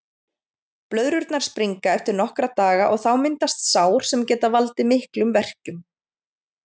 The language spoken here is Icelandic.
Blöðrurnar springa eftir nokkra daga og þá myndast sár sem geta valdið miklum verkjum.